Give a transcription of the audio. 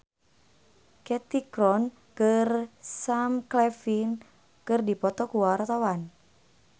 Cathy Sharon jeung Sam Claflin keur dipoto ku wartawan